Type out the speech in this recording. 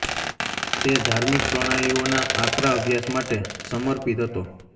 તે ધાર્મિક પ્રણાલીઓના આકરા અભ્યાસ માટે સમર્પિત હતો